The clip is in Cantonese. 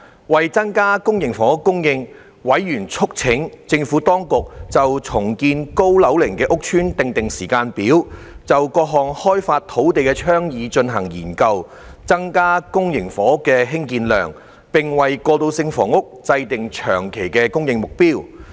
為增加公營房屋供應，委員促請政府當局就重建高樓齡屋邨訂定時間表；就各項開發土地的倡議進行研究；增加公營房屋興建量，並為過渡性房屋制訂長期供應目標。